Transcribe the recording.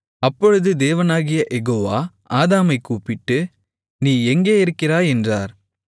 அப்பொழுது தேவனாகிய யெகோவா ஆதாமைக் கூப்பிட்டு நீ எங்கே இருக்கிறாய் என்றார்